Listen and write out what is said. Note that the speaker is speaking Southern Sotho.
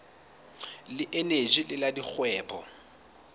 le eneji le la dikgwebo